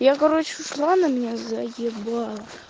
я короче ушла она меня заебала